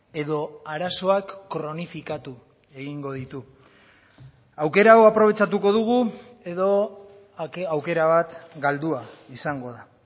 edo arazoak kronifikatu egingo ditu aukera hau aprobetxatuko dugu edo aukera bat galdua izango da